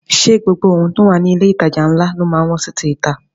Ṣé gbogbo ohun tó wà ní ilé ìtajà ńlá ló má ń wọ́n sí ti ìta?